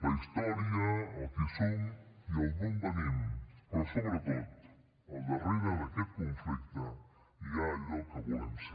la història el qui som i el d’on venim però sobretot al darrere d’aquest conflicte hi ha allò que volem ser